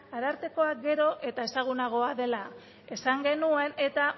arartekoa gero eta ezagunagoa dela esan genuen eta